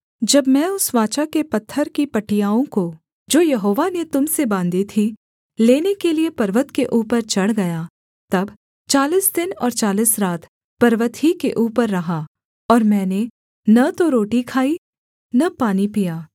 जब मैं उस वाचा के पत्थर की पटियाओं को जो यहोवा ने तुम से बाँधी थी लेने के लिये पर्वत के ऊपर चढ़ गया तब चालीस दिन और चालीस रात पर्वत ही के ऊपर रहा और मैंने न तो रोटी खाई न पानी पिया